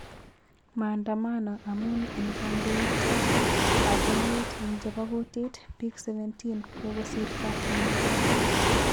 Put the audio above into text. Maandamano amun eng kandoitet ap emet eng chepo kutit .pik 17 ,kokosirto en DRC